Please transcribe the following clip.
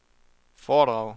foredrag